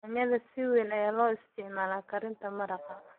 Yaanyo si weyn ayaa loo isticmaalaa karinta maraq.